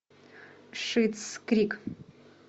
шиттс крик